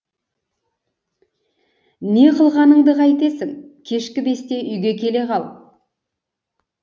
не қылғанды қайтесің кешкі бесте үйге келе қал